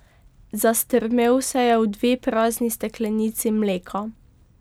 Zastrmel se je v dve prazni steklenici mleka.